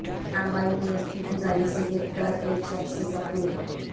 تاڑوائی میں اسکوٹی گاڑی سے گر کر ایک شخص زخمی